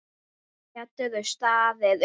Geturðu staðið upp?